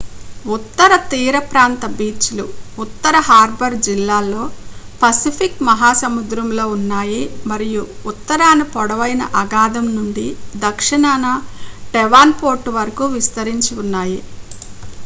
ఉత్తర తీరప్రాంత బీచ్లు ఉత్తర హార్బర్ జిల్లాలో పసిఫిక్ మహాసముద్రంలో ఉన్నాయి మరియు ఉత్తరాన పొడవైన అఖాతం నుండి దక్షిణాన డెవాన్పోర్ట్ వరకు విస్తరించి ఉన్నాయి